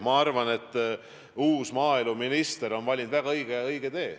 Ma arvan, et uus maaeluminister on valinud väga õige tee.